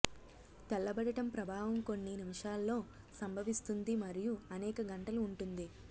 తెల్లబడటం ప్రభావం కొన్ని నిమిషాల్లో సంభవిస్తుంది మరియు అనేక గంటలు ఉంటుంది